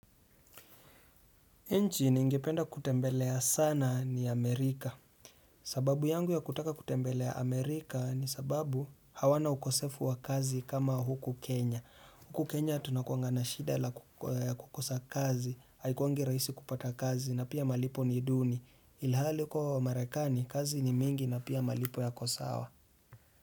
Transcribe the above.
Nchi ningependa kutembelea sana ni Amerika. Sababu yangu ya kutaka kutembelea Amerika ni sababu hawana ukosefu wa kazi kama huku Kenya. Huku Kenya tunakuanga na shida la kukosa kazi, haikuwangi rahisi kupata kazi na pia malipo ni duni. Ilhali kuwa wa marekani, kazi ni mingi na pia malipo yako sawa.